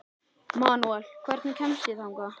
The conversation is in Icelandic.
Manuel, hvernig kemst ég þangað?